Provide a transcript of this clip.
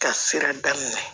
Ka sira daminɛ